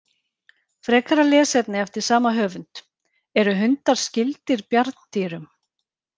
Frekara lesefni eftir sama höfund: Eru hundar skyldir bjarndýrum?